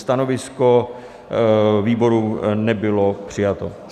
Stanovisko výboru nebylo přijato.